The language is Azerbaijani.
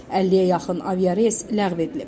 50-yə yaxın aviareys ləğv edilib.